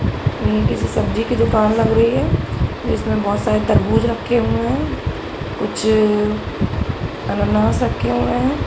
ये किसी सब्जी की दुकान लग रही है इसमें बहुत सारे तरबूज रखे हुए है कुछ अनानास रखे हुए हैं।